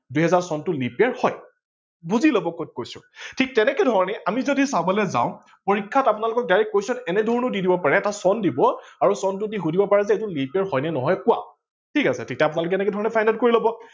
দুহেজাৰ চনটো leap year হয়। বুজি লব কত কৈছো ঠিক তেনেকে ধৰনে আমি যদি চাবলৈ যাও পৰীক্ষাত direct question এনে ধৰনেও দি দিব পাৰে চন দিব আৰু চনটো দি সোধিব পাৰে যে এইটো leap year হয় নে নহয় কোৱা ঠিক আছে তেতিয়া আপোনালোকে এনেধৰনে find out কৰি লব